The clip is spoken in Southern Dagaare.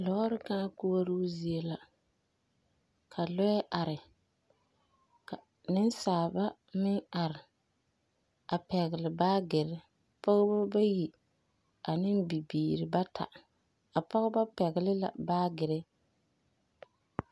Lɔɔre kãã koɔroo zie la ka lɔɛ are ka nensaaba meŋ are a pɛgele baagere. Pɔgeba bayi a ne bibiiri bata. A pɔgeba pɛgele la baagere.